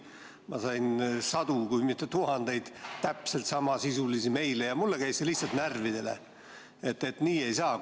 Ma sain sadu, kui mitte tuhandeid täpselt sama sisuga meile ja mulle käis see lihtsalt närvidele, et nii ei saa.